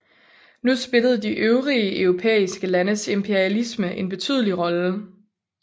Nu spillede de øvrige europæiske landes imperialisme en betydelig rolle